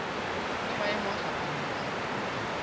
le maemo a fapaneng a